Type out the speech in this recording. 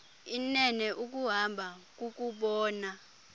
inene ukuhamba kukubona